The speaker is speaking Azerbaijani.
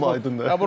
Seçim aydındır.